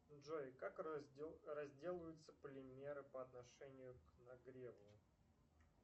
джой как разделываются полимеры по отношению к нагреву